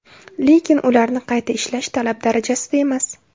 Lekin ularni qayta ishlash talab darajasida emas.